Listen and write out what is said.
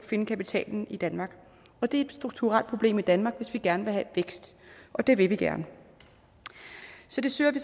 finde kapitalen i danmark og det er et strukturelt problem i danmark hvis vi gerne vil have vækst og det vil vi gerne så det søger vi